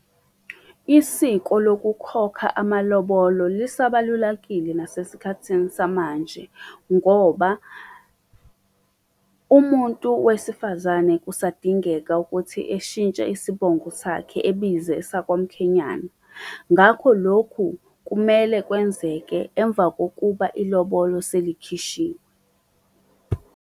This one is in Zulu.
Isiko lokukhokha amalobolo lisabalulakile nasesikhathini samanje ngoba, umuntu wesifazane kusadingeka ukuthi eshintshe isibongo sakhe ebize esakwamkhenyana, ngakho lokhu kumele kwenzeke emva kokuba ilobolo selikhishiwe.